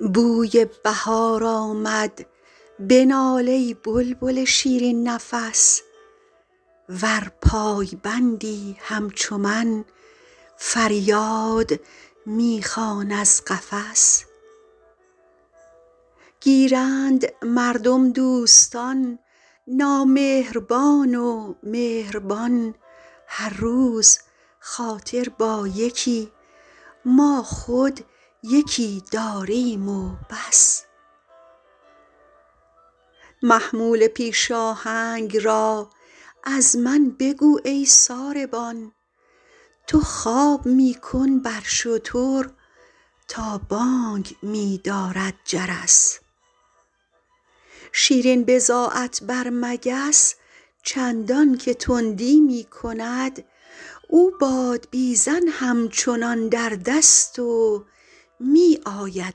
بوی بهار آمد بنال ای بلبل شیرین نفس ور پایبندی همچو من فریاد می خوان از قفس گیرند مردم دوستان نامهربان و مهربان هر روز خاطر با یکی ما خود یکی داریم و بس محمول پیش آهنگ را از من بگو ای ساربان تو خواب می کن بر شتر تا بانگ می دارد جرس شیرین بضاعت بر مگس چندان که تندی می کند او بادبیزن همچنان در دست و می آید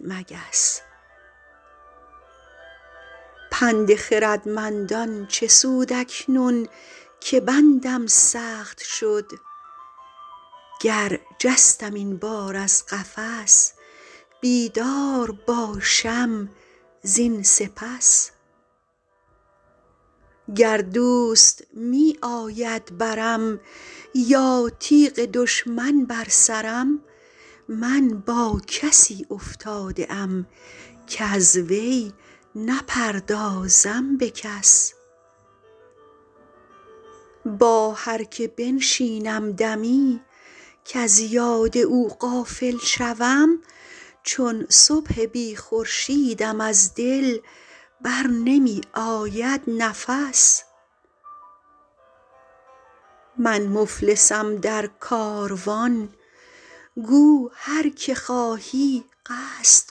مگس پند خردمندان چه سود اکنون که بندم سخت شد گر جستم این بار از قفس بیدار باشم زین سپس گر دوست می آید برم یا تیغ دشمن بر سرم من با کسی افتاده ام کز وی نپردازم به کس با هر که بنشینم دمی کز یاد او غافل شوم چون صبح بی خورشیدم از دل بر نمی آید نفس من مفلسم در کاروان گو هر که خواهی قصد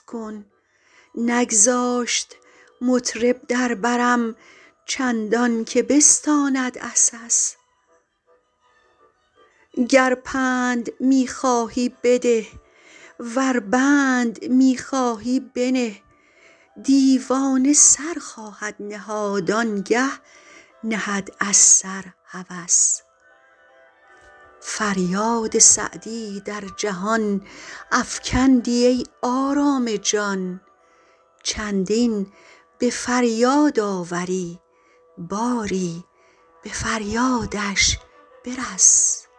کن نگذاشت مطرب در برم چندان که بستاند عسس گر پند می خواهی بده ور بند می خواهی بنه دیوانه سر خواهد نهاد آن گه نهد از سر هوس فریاد سعدی در جهان افکندی ای آرام جان چندین به فریاد آوری باری به فریادش برس